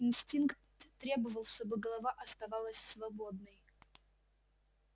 инстинкт требовал чтобы голова оставалась свободной